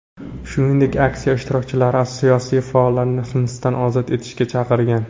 Shuningdek, aksiya ishtirokchilari siyosiy faollarni hibsdan ozod etishga chaqirgan.